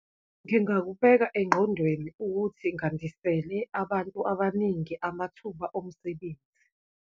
Ngingakubeka enqondweni ukuthi ngandisele abantu abaningi amathuba omsebenzi.